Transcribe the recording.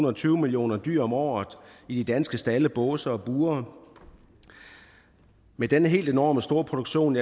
og tyve millioner dyr om året i de danske stalde båse og bure med den helt enormt store produktion